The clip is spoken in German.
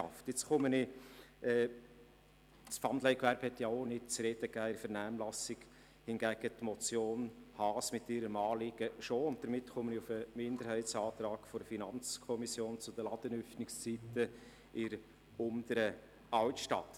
Die Änderungen zum Pfandleihgewerbe waren in der Vernehmlassung auch nicht bestritten, hingegen die Motion Haas () mit ihrem Anliegen, und damit komme ich zum FiKo-Minderheitsantrag betreffend die Ladenöffnungszeiten in der Unteren Altstadt.